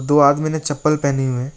दो आदमी ने चप्पल पहने हुए हैं।